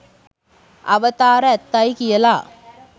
අවතාර ඇත්තයි කියලා.